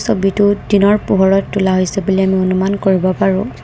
দিনৰ পোহৰত তোলা হৈছে বুলি আমি অনুমান কৰিব পাৰোঁ।